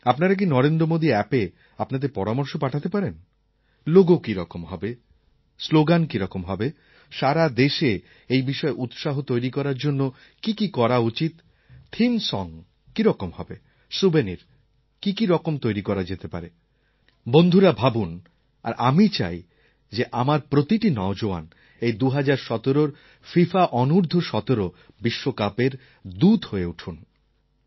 আপনারা কি নরেন্দ্র মোদী অ্যাপএ আপনাদের পরামর্শ পাঠাতে পারেন লোগো কীরকম হবে স্লোগান কীরকম হবে সারা দেশে এই বিষয়ে উৎসাহ তৈরি করার জন্য কী কী করা উচিত থিম সং কীরকম হবে স্যুভেনির কী কী রকম তৈরি করা যেতে পারে বন্ধুরা ভাবুন আর আমি চাই যে আমার প্রতিটি নওজোয়ান এই ২০১৭র ফিফা অনূর্দ্ধ১৭ বিশ্বকাপের দূত হয়ে উঠুন